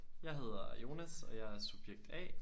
Jeg hedder Jonas og jeg er subjekt A